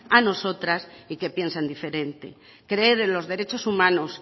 a nosotras y que piensan diferente creer en los derechos humanos